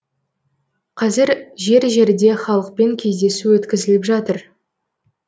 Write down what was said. қазір жер жерде халықпен кездесу өткізіліп жатыр